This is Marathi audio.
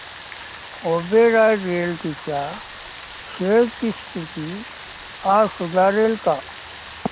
ओबेरॉय रियाल्टी च्या शेअर्स ची स्थिती आज सुधारेल का